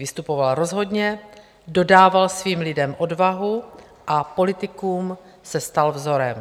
Vystupoval rozhodně, dodával svým lidem odvahu a politikům se stal vzorem.